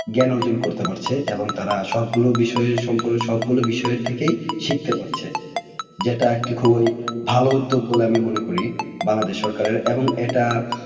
জ্ঞান অর্জন করতে পারছে এবং তারা সব গুলো বিষয়ের সম্পর্কে সব গুলো বিষয়ের থেকেই শিখতে পারছে। যেটা একটি খুব ওই ভালো উদ্যোগ বলে আমি মনে করি বাংলাদেশ সরকারের এবং এটা